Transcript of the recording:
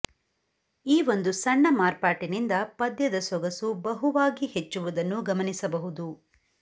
ಈ ಒಂದು ಸಣ್ಣ ಮಾರ್ಪಾಟಿನಿಂದ ಪದ್ಯದ ಸೊಗಸು ಬಹುವಾಗಿ ಹೆಚ್ಚುವುದನ್ನು ಗಮನಿಸಬಹುದು